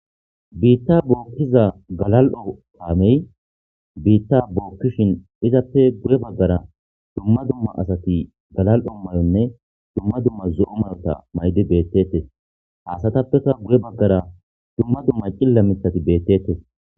biitta bookkiza galal7o paamey biitta bookkishin izappe guye baggara dumma dumma asati galal7o mayonne duma dumma zo7o mayota maydi beettettes haasatappeka guye baggara dumma dumma cilla mithati beettettes